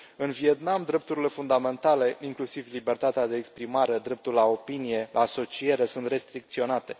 În Vietnam drepturile fundamentale, inclusiv libertatea de exprimare, dreptul la opinie, la asociere sunt restricționate.